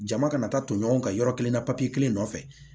Jama kana taa ton ɲɔgɔn ka yɔrɔ kelen na papiye kelen nɔfɛ